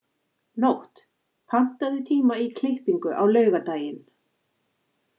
Nótt, pantaðu tíma í klippingu á laugardaginn.